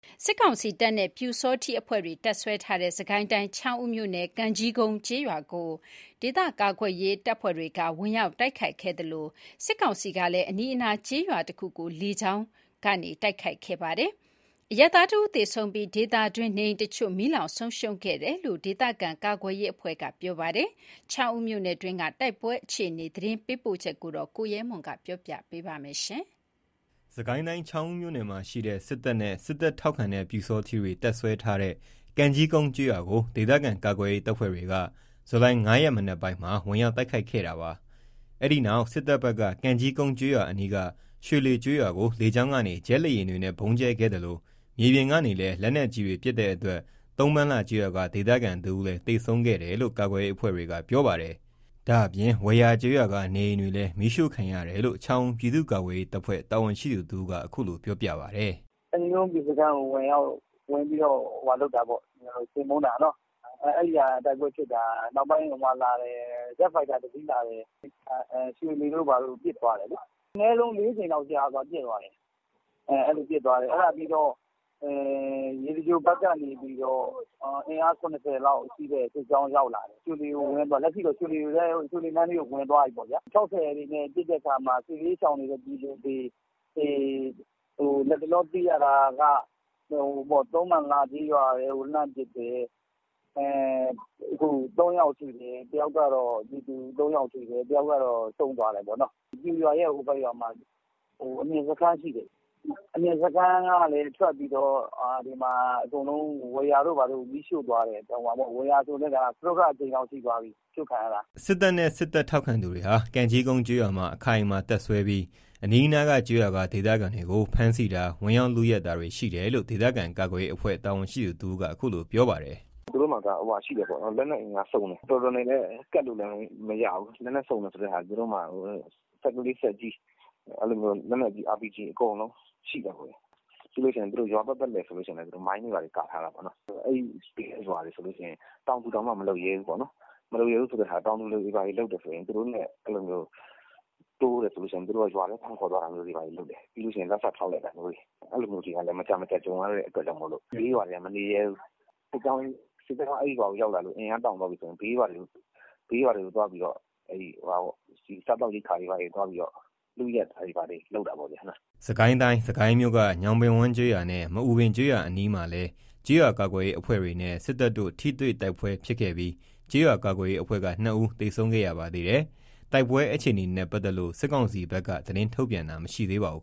စစ်ကောင်စီတပ်နဲ့ ပျူစောထီးအဖွဲ့တွေ တပ်စွဲထားတဲ့ စစ်ကိုင်းတိုင်း ချောင်းဦးမြို့နယ် ကံကြီးကုန်းကျေးရွာ ကို ဒေသကာကွယ်ရေး တပ်ဖွဲ့တွေကဝင်ရောက်တိုက်ခိုက်ခဲ့သလို၊ စစ်ကောင်စီကလည်း အနီးအနား ကျေးရွာတခုကို လေကြောင်းတိုက်ခိုက်မှုလုပ်ခဲ့ပါတယ်။ အရပ်သားတဦးသေဆုံးပြီး ဒေသတွင်းနေအိမ် တချို့ မီးလောင်ဆုံးရှုံးခဲ့တယ်လို့ဒေသခံကာကွယ်ရေးအဖွဲ့ကပြောပါတယ်။ ချောင်းဦးမြို့နယ်တွင်းကတိုက်ပွဲ အခြေအနေ သတင်းပေးပို့ချက်ကို ကိုရဲမွန်ပြောပြမှာပါ။ စစ်ကိုင်းတိုင်း ချောင်းဦးမြို့နယ်မှာရှိတဲ့ စစ်တပ်နဲ့ စစ်တပ်ထောက်ခံတဲ့ ပျူစောထီးတွေ တပ်စွဲထားတဲ့ ကံကြီးကုန်းကျေးရွာကို ဒေသခံကာကွယ်ရေးတပ်ဖွဲ့တွေက ဇူလိုင် ၅ ရက်၊ မနက်ပိုင်းမှာ ဝင်ရောက်တိုက် ခိုက်ခဲ့တာပါ။ အဲ့ဒီနောက် စစ်တပ်ဖက်က ကံကြီးကုန်းကျေးရွာအနီး ရွှေလှေကျေးရွာကို လေကြောင်းကနေ ဂျက်လေ ယာဉ်တွေနဲ့ ဗုံးကြဲခဲ့သလို မြေပြင်ကနေလည်း လက်နက်ကြီးတွေနဲ့ပါ ပစ်တဲ့အတွက် သုံးပန်လှကျေးရွာက ဒေသခံတဦးလည်း သေဆုံးတယ်လို့ ကာကွယ်ရေးအဖွဲ့တွေက ပြောပါတယ်။ ဒါ့အပြင် ဝယာကျေးရွာက နေအိမ်တွေလည်း မီးရှို့ခံရတယ်လို့ ချောင်းဦးပြည်သူ့ကာကွယ်ရေးတပ်ဖွဲ့ တာဝန်ရှိသူတဦးကအခုလို ပြောပြပါတယ်။ “ကံကြီးကုန်းပျူစခန်းကိုဝင်ပြီးတော့ ချေမှုန်းတာပေါ့။ အဲ့မှာတိုက်ပွဲဖြစ်တာ။ နောက်ပိုင်း ဂျက်ဖိုက်တာ ၁ စင်းလာတယ်။ ရွှေလှေတို့ဘာတို့ကိုပစ်သွားတယ်။ အနည်းဆုံး ၄ ကြိမ်လောက် ပစ်သွားတယ်။ အဲ့လိုပစ်ပြီး ရေစကြိုဘက်ကနေပြီး အင်အား ၇၀ လောက်ရှိတဲ့ စစ်ကြောင်း ရောက်လာတယ်။ လက်ရှိတော့ ရွှေလှေ နားလေးကို ဝင်သွားပြီပေါ့။ ၆၀ တွေနဲ့ ပစ်တဲ့အခါမှာ စစ်ဘေးရှောင်တဲ့ ပြည်သူတွေ လက်တလောသိရတာ က သုံးပန်လှ ကျေးရွာထဲကို လှမ်းပစ်တယ်။ ပြည်သူ ၃ယောက်ထိတယ်။ တယောက်ကတော့ ဆုံးသွား တယ်ပေါ့။ ပျူရွာရဲ့ ဟိုဘက်မှာ အမြင့် ရှိတယ်။ အမြင့်စခန်းကလည်း ထွက်ပြီးတော့ အကုန်လုံး ဝယာတို့ဘာတို့ကို မီးရှို့သားတယ်။ ဝယာဆို စတုတ္ထအကြိမ်မြောက်ရှိသွားပြီ။ အရှို့ခံရတာ။” စစ်တပ်နဲ့ စစ်တပ်ထောက်ခံသူတွေဟာ ကံကြီးကုန်း ကျေးရွာမှာအခိုင်အမာ တပ်စွဲပြီး အနီးနားကျေးရွာက ဒေသခံတွေကို ဖမ်းဆီးတာ၊ ဝင်ရောက်လုယက်တာတွေရှိတယ်လို့ ဒေသခံကာကွယ်ရေးအဖွဲ့ တာဝန်ရှိသူ တဦးကအခုလို ပြောပါတယ်။ “သူတို့က လက်နက်စုံတယ်။ တော်တော်နဲ့လည်း ကပ်မရဘူး။ စက်ကလေး စက်ကြီး လက်နက်ကြီး RPG အကုန်လုံး ရှိတာပေါ့ဗျာ။ ရွာပတ်ပတ်လည်မှာလည်း မိုင်းတွေဘာတွေ ကာထားတာပေါ့။ အဲ့ဘေးကရွာ တွေဆိုရင် တောင်သူတောင် မလုပ်ရဲဘူးပေါ့။ တောင်သူတွေလုပ်လို့ သူတို့နဲ့တိုးတယ်ဆိုရင် သူတို့က ရွာထဲ ဖမ်းခေါ်သွားတာမျိုးတွေလုပ်တယ်။ ပြီးရင်လက်စဖျောက်လိုက်တာမျိုးတွေ အဲ့လိုမျိုးတွေ မကြာမကြာ ကြုံရတဲ့အတွက်ကြောင့်မို့လို့ ဘေးရွာတွေကမနေရဲဘူး။ စစ်ကြောင်းရောက်လာလို့ အင်အား တောင့်သွား ပြီဆိုရင် ဘေးရွာတွေကို သွားပြီးတော့ စားသောက်ရိက္ခာတွေ လုယက်တာတွေ လုပ်တာပေါ့ဗျာ။” စစ်ကိုင်းတိုင်း၊ စစ်ကိုင်းမြို့က ညောင်ပင်ဝန်းကျေးရွာနဲ့ မအူပင်ကျေးရွာအနီးမှာလည်း ကျေးရွာကာကွယ် ရေးအဖွဲ့တွေနဲ့ စစ်တပ်တို့ ထိတွေ့တိုက်ပွဲဖြစ်ခဲ့ပြီး ကျေးရွာကာကွယ်ရေး အဖွဲ့က ၂ ဦး သေဆုံးခဲ့ရပါသေး တယ်။ တိုက်ပွဲအခြေအနေနဲ့ပတ်သက်လို့ စစ်ကောင်စီဘက်က သတင်းထုတ်ပြန်တာတော့မရှိသေးပါဘူး